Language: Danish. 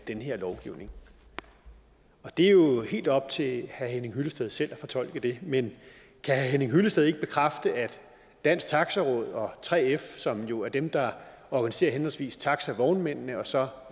den her lovgivning det er jo helt op til herre henning hyllested selv at fortolke det men kan herre henning hyllested ikke bekræfte at dansk taxi råd og 3f som jo er dem der organiserer henholdsvis taxavognmændene og så